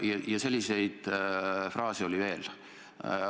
Ja selliseid fraase oli veel.